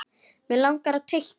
Hann langar að teikna.